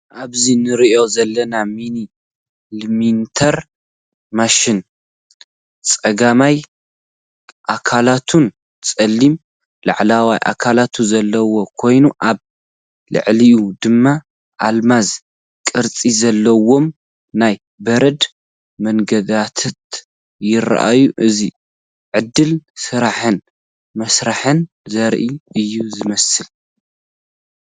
ኣብዚ ንርእዮ ዘለና ሚኒ ላሚነተር ማሽን ጸጋማይ ኣካላቱን ጸሊም ላዕለዋይ ኣካላቱን ዘለዎ ኮይኑ፡ ኣብ ልዕሊኡ ድማ ኣልማዝ ቅርጺ ዘለዎም ናይ በረድ መንገድታት ይረኣዩ። እዚ ዕድል ስራሕን መሳርሕን ዘርኢ እዩ ዝመስል።